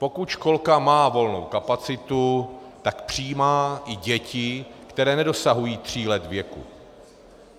Pokud školka má volnou kapacitu, tak přijímá i děti, které nedosahují tří let věku.